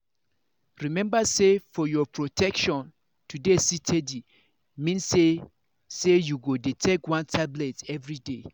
remember say for your protection to dey steady mean say say you go dey take one tablet everyday